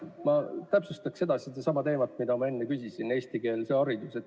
Ma täpsustaksin edasi sedasama teemat, mille kohta ma enne küsisin: eestikeelne haridus.